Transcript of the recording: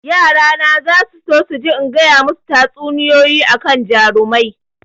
Yara na zasu so su ji in gaya masu tatsuniyoyi akan jarumai